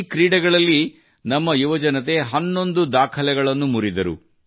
ಈ ಕ್ರೀಡೆಗಳಲ್ಲಿ ನಮ್ಮ ಯುವಜನತೆ ಹನ್ನೊಂದು ದಾಖಲೆಗಳನ್ನು ಮುರಿದರು